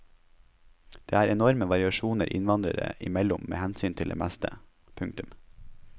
Det er enorme variasjoner innvandrere imellom med hensyn til det meste. punktum